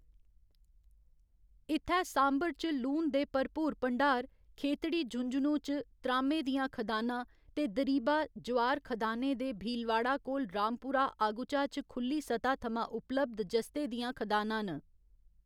इत्थै सांभर च लून दे भरपूर भंडार, खेतड़ी, झुंझुनू च त्राह्‌में दियां खदानां, ते दरीबा, जवार खदानें ते भीलवाड़ा कोल रामपुरा आगुचा च खु'ल्ली सतह् थमां उपलब्ध जस्ते दियां खदानां न।